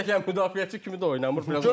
Həm də ki, müdafiəçi kimi də oynamır.